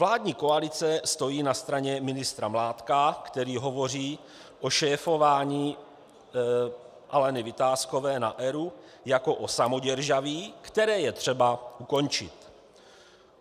Vládní koalice stojí na straně ministra Mládka, který hovoří o šéfování Aleny Vitáskové na ERÚ jako o samoděržaví, které je třeba ukončit.